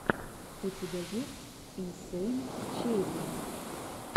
у тебя есть инсэйн черри